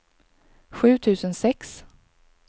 sju tusen sex